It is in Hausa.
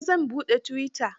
Gobe zan buɗe tuwita.